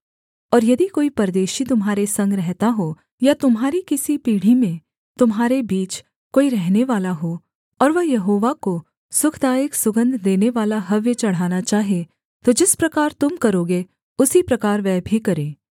और यदि कोई परदेशी तुम्हारे संग रहता हो या तुम्हारी किसी पीढ़ी में तुम्हारे बीच कोई रहनेवाला हो और वह यहोवा को सुखदायक सुगन्ध देनेवाला हव्य चढ़ाना चाहे तो जिस प्रकार तुम करोगे उसी प्रकार वह भी करे